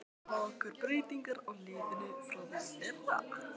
Hafa orðið miklar breytingar á liðinu frá því í fyrra?